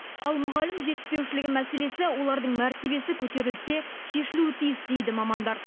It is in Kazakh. ал мұғалім жетіспеушілігі мәселесі олардың мәртебесі көтерілсе шешілуі тиіс дейді мамандар